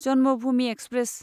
Janmabhoomi express